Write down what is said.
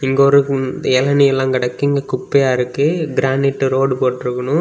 இங்க ஒரு குன் எளநி எல்லா கெடக்கு இங்க குப்பையா இருக்கு கிரானைட் ரோடு போட்டிருக்கணு.